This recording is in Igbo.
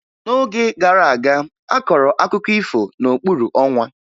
N'oge gara aga, a kọrọ akụkọ ifo n'okpuru ọnwa